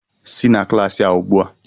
Si na klaasị a ugbu a!